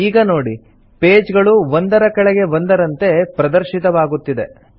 ಈಗ ನೋಡಿ ಪೇಜ್ ಗಳು ಒಂದರ ಕೆಳಗೆ ಒಂದರಂತೆ ಪ್ರದರ್ಶಿತವಾಗುತ್ತಿದೆ